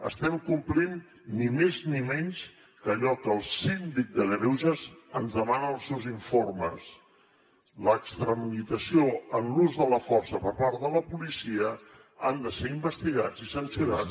estem complint ni més ni menys que allò que el síndic de greuges ens demana en els seus informes l’extralimitació en l’ús de la força per part de la policia ha de ser investigada i sancionada